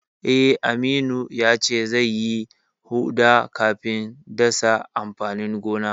Eh, Aminu yace zai yi huɗa kafin dasa amfanin gona.